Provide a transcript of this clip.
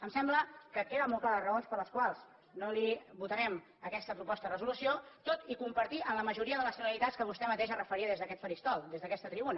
em sembla que queden molt clares les raons per les quals no li votarem aquesta proposta de resolució tot i compartir la majoria de les finalitats a què vostè mateix es referia des d’aquest faristol des d’aquesta tribuna